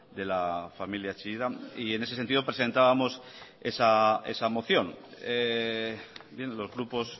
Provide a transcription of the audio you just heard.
de la familia chillida y en ese sentido presentábamos esa moción los grupos